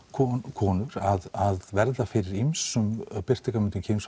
konur að verða fyrir ýmsum birtingarmyndum